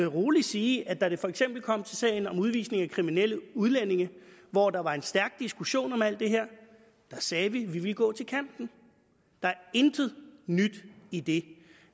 roligt sige at da det for eksempel kom til sagen om udvisning af kriminelle udlændinge hvor der var en stærk diskussion om alt det her sagde vi at vi ville gå til kanten der er intet nyt i det